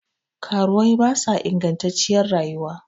Karuwai ba sa ingattaciyar rayuwa